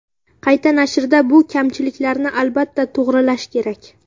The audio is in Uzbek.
Qayta nashrda bu kamchiliklarni albatta to‘g‘rilash kerak.